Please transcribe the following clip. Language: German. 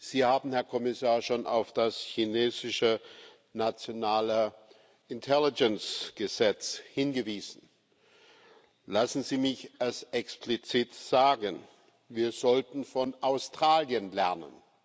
Sie, Herr Kommissar, haben schon auf das chinesische nationale Gesetz hingewiesen. Lassen Sie mich es explizit sagen Wir sollten von Australien lernen.